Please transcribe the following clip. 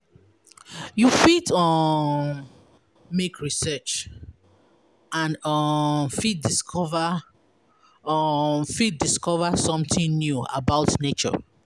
We fit um make research and um fit discover um fit discover something new about nature